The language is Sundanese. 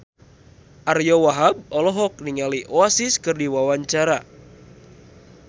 Ariyo Wahab olohok ningali Oasis keur diwawancara